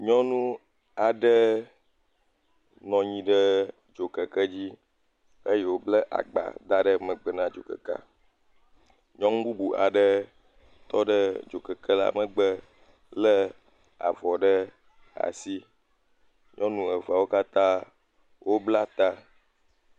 Nyɔnu aɖe nɔ nyi ɖe dzokekedzi eye wòble agba da ɖe megbe na dzokekea. Nyɔnu bubu aɖe tɔ ɖe dzokekela megbe lé avɔ ɖe asi. Nyɔnu evewo katã woble ta.